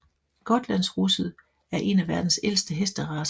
Gotlandsrusset er en af verdens ældste hesteracer